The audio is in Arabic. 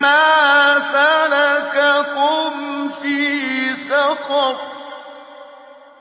مَا سَلَكَكُمْ فِي سَقَرَ